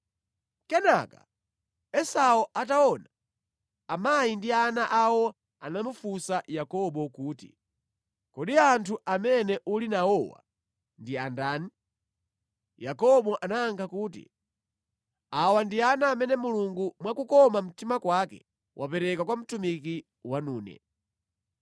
Kenaka Esau ataona amayi ndi ana awo anamufunsa Yakobo kuti, “Kodi anthu amene uli nawowa ndi a ndani?” Yakobo anayankha kuti, “Awa ndi ana amene Mulungu, mwa kukoma mtima kwake, wapereka kwa mtumiki wanune.”